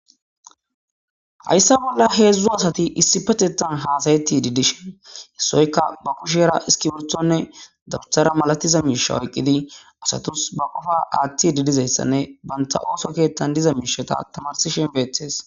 hayssa bolla heedzdzu asati issi patetan haasayetti didishin hessoyka ba kushera iski wurthonne dabuthara malatiza miisha oyqqidi asatus ba qofa aathti didizayssanne banta ooso keettan diza miishata tamarisishe beettes